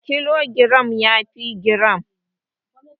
Kilogiram yafi giram.